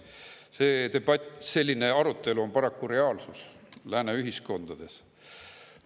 Selline debatt, selline arutelu on paraku reaalsus lääne ühiskondades.